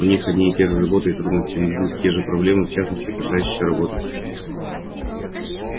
у них одни и те же заботы и трудности одни и те же проблемы в частности касающиеся работы